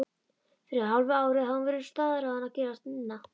Fyrir hálfu ári hafði hún verið staðráðin að gerast nunna.